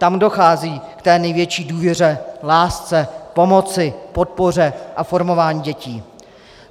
Tam dochází k té největší důvěře, lásce, pomoci, podpoře a formování dětí.